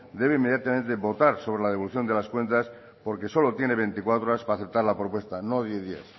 debe inmediatamente votar sobre la devolución de las cuentas porque solo tiene veinticuatro horas para aceptar la propuesta no diez días